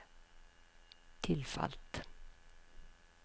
tilfalt